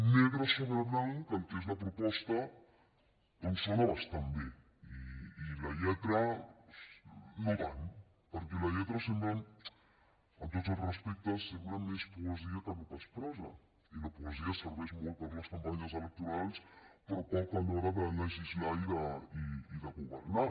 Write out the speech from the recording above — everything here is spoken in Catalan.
negre sobre blanc el que és la proposta doncs sona bastant bé i la lletra no tant perquè la lletra sembla amb tots els respectes més poesia que no pas prosa i la poesia serveix molt per a les campanyes electorals però poc a l’hora de legislar i de governar